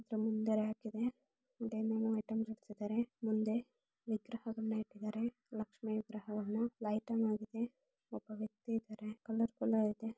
ಇದ್ರು ಮುಂದೆ ರ್ಯಾಕ್ ಇದೆ ಮುಂದೆ ಏನೇನೋ ಐಟಂಸ್ ಇಟ್ಟಿದ್ದಾರೆ ಮುಂದೆ ವಿಗ್ರಹಗಳನ್ನ ಇಟ್ಟಿದ್ದಾರೆ ಲಕ್ಷ್ಮಿ ವಿಗ್ರಹವನ್ನ ಲೈಟ್ ಆನ್ ಆಗಿದೆ ಒಬ್ಬ ವ್ಯಕ್ತಿ ಇದ್ದಾರೆ ಕಲರ್-ಕಲರ್ ಇದೆ.